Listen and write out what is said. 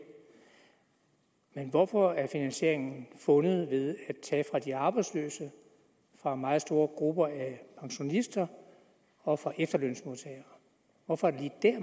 men hvorfor er finansieringen fundet ved at tage fra de arbejdsløse fra meget store grupper af pensionister og fra efterlønsmodtagere hvorfor